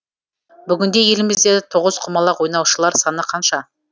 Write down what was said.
бүгінде елімізде тоғызқұмалақ ойнаушылар саны қанша